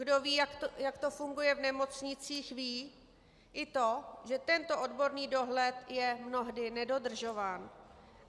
Kdo ví, jak to funguje v nemocnicích, ví i to, že tento odborný dohled je mnohdy nedodržován.